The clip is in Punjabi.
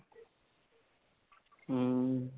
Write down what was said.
ਹੱਮ